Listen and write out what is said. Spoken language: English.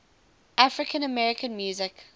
african american music